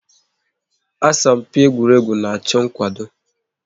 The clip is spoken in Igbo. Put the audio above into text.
Asọmpi egwuregwu na-achọ nkwado